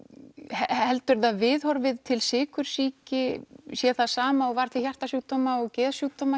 heldur þú að viðhorfið til sykursýki sé það sama og var til hjarta og geðsjúkdóma